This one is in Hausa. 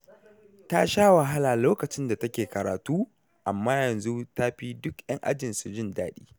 Ta sha wahala lokacin da take karatu, amma yanzu ta fi duk 'yan ajinsu jin daɗi.